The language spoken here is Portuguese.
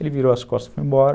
Ele virou as costas e foi embora.